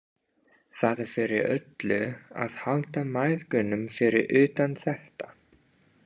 Það er fyrir öllu að halda mæðgunum fyrir utan þetta.